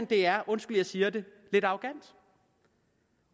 det er undskyld jeg siger det lidt arrogant